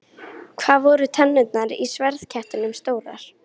Hvað voru tennurnar í sverðkettinum stórar?